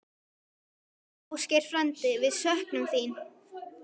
Ásgeir frændi, við söknum þín.